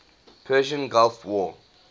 persian gulf war